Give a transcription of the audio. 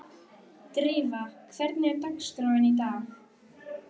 Drífa, hvernig er dagskráin í dag?